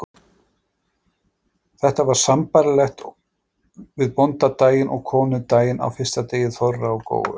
Þetta var sambærilegt við bóndadaginn og konudaginn á fyrsta degi þorra og góu.